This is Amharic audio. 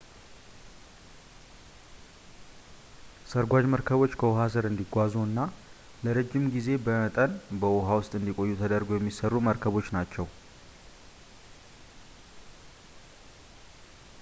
ሰርጓጅ መርከቦች ከውሃ ስር እንዲጓዙ እና ለረዥም የጊዜ መጠን በውሃ ውስጥ እንዲቆዩ ተደርገው የሚሰሩ መርከቦች ናቸው